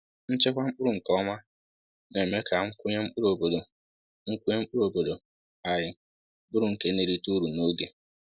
Nchekwa mkpụrụ nke ọma na-eme ka nkwụnye mkpụrụ obodo nkwụnye mkpụrụ obodo anyị bụrụ nke na-erite uru n’oge